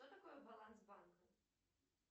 что такое баланс банка